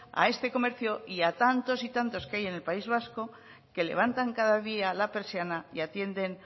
a este comercio y a tantos y tantos que hay en el país vasco que levantan cada día la persiana y atienden